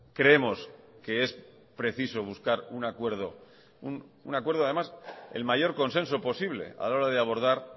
creemos que es preciso buscar un acuerdo un acuerdo además el mayor consenso posible a la hora de abordar